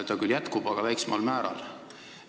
See küll püsib, aga väiksemal määral.